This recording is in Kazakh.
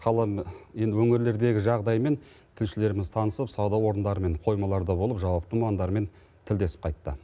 қала енді өңірлердегі жағдаймен тілшілеріміз танысып сауда орындары мен қоймаларда болып жауапты мамандармен тілдесіп қайтты